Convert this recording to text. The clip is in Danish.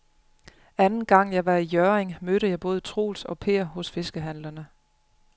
Anden gang jeg var i Hjørring, mødte jeg både Troels og Per hos fiskehandlerne.